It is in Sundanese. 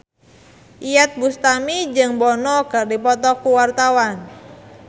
Iyeth Bustami jeung Bono keur dipoto ku wartawan